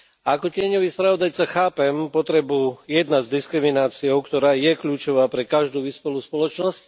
Ako tieňový spravodajca chápem potrebu jednať s diskrimináciou, ktorá je kľúčová pre každú vyspelú spoločnosť.